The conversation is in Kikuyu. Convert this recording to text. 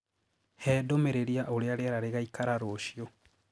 hee ndumĩriri ya ũrĩa rĩera rĩgaĩkara ruciu